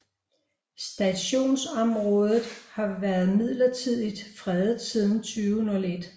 Stationsområdet har været midlertidigt fredet siden 2001